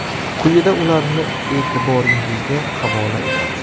Quyida ularni e’tiboringizga havola etamiz.